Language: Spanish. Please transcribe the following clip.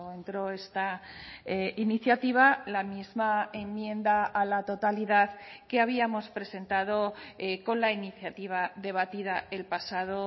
entró esta iniciativa la misma enmienda a la totalidad que habíamos presentado con la iniciativa debatida el pasado